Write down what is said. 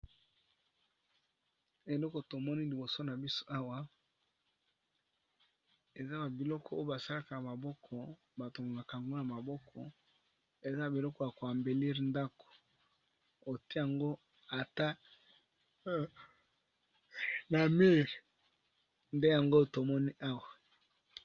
Eloko tomoni liboso na biso awa eza ba biloko oyo basalaka maboko batongaka ango na maboko, eza biloko ya koambelire ndako ote yango ata na mile nde yango tomoni awa.